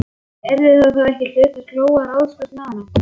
Yrði það þá hlutverk Lóu að ráðskast með hana?